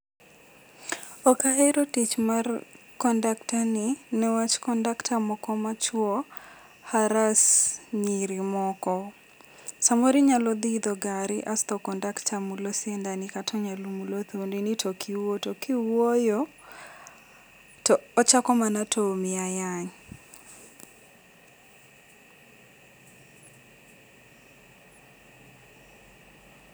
Ok ahero tich mar conductor ni ne wach conductor moko machuo harass nyiri moko. Samoro inyalo dhi iidho gari asto conductor mulo siendani kata onyalo mulo thundi ni to ok iwuo, to kiwuoyo, to ochako mana tomi ayany.